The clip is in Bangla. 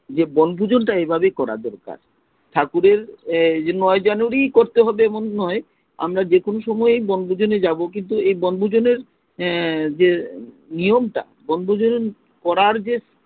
যে বনভোজন টা এভাবেই করা দরকার, ঠাকুরের ঐ নৌ january করতে হবে এমন নয় আমরা যেকোনো সময়ই বনভোজনে যাবো কিন্তু ঐ বনভোজনের এজে নিয়ম টা বনভোজন করার যে